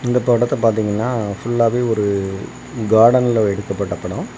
இந்த தோட்டத்தை பார்த்தீங்கன்னா ஃபுல்லாவே ஒரு கார்டன்ல எடுக்கப்பட்ட படம்.